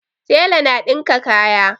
Tela na dinka kaya